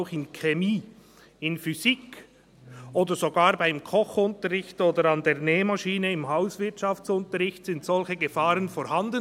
Auch in Chemie, in Physik, oder sogar beim Kochunterricht oder an der Nähmaschine im Hauswirtschaftsunterricht, sind solche Gefahren vorhanden.